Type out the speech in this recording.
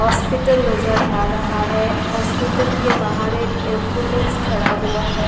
Hospital नजर आ रहा है हॉस्पिटल के बाहर एक एंबुलेंस खड़ा हुआ है।